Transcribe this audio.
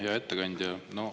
Hea ettekandja!